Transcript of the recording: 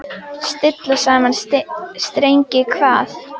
Stilla saman strengi hvað?